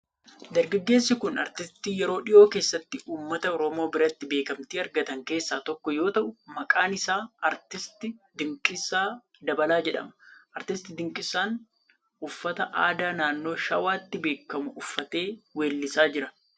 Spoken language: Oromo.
Dargaggeessi kun aartistii yeroo dhihoo keessatti uummata Oromoo biratti beekamtii argatan keessaa tokko yoo ta'u, maqaan isaa Aartist Dinqisaa Dabalaa jedhama. Aartist Dinqisaan uffata aadaa naannoo Shawaatti beekamu uffatee weellisaa jira.